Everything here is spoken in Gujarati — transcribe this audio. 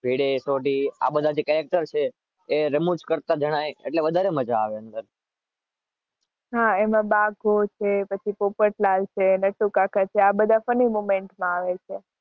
ભીડે, સોઢી, આ બધા